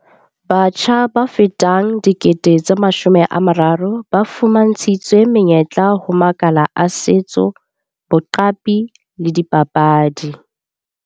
Batjha ba fetang 30 000 ba fuma ntshitswe menyetla ho makala a setso, boqapi le dipapadi.